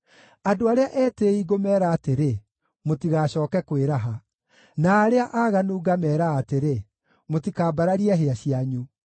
Andũ arĩa etĩĩi ngũmeera atĩrĩ, ‘Mũtigacooke kwĩraha,’ na arĩa aaganu ngameera atĩrĩ, ‘Mũtikambararie hĩa cianyu.